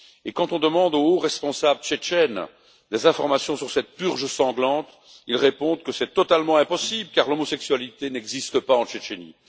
Quand on demande aux hauts responsables tchétchènes des informations sur cette purge sanglante, ils répondent que c'est totalement impossible car l'homosexualité n'existe pas en Tchétchénie.